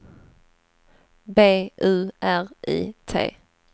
B U R I T